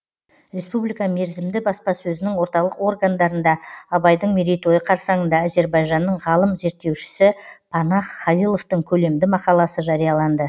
республика мерзімді баспасөзінің орталық органдарында абайдың мерейтойы қарсаңында әзербайжанның ғалым зерттеушісі панах халиловтың көлемді мақаласы жарияланды